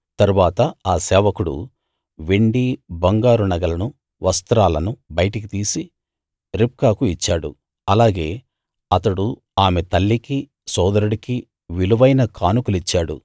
తరువాత ఆ సేవకుడు వెండీ బంగారు నగలనూ వస్త్రాలనూ బయటికి తీసి రిబ్కాకు ఇచ్చాడు అలాగే అతడు ఆమె తల్లికీ సోదరుడికీ విలువైన కానుకలిచ్చాడు